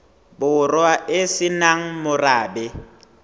borwa e se nang morabe